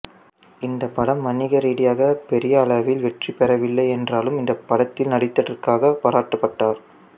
இந்த படம் வணிக ரீதியாக பெரிய அளவில் வெற்றிபெரவில்லை என்றாலும் இந்த படத்தில் நடித்ததற்காக பாராட்டப்பட்டார்